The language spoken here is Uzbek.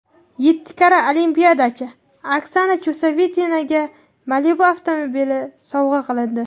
Yetti karra olimpiadachi Oksana Chusovitinaga Malibu avtomobili sovg‘a qilindi.